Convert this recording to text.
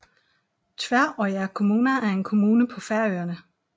Tvøroyrar kommuna er en kommune på Færøerne